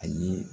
A ye